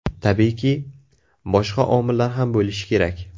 Tabiiyki, boshqa omillar ham bo‘lishi kerak.